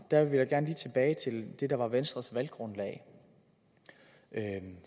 vil jeg gerne lige tilbage til det der var venstres valggrundlag